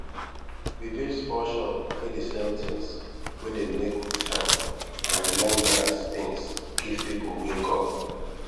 we build small shop wey dey sell tins wey dem make with hand and remembrance tins give people wey come